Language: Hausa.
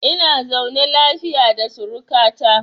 Ina zaune lafiya da suruka ta.